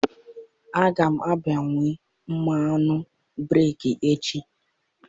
Aga m agbanwe mmanụ breeki echi.